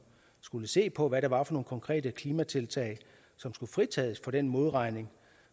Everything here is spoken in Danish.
skulle se på hvad det var for nogle konkrete klimatiltag som skulle fritages for den modregning